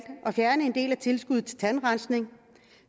at fjerne en del af tilskuddet til tandrensning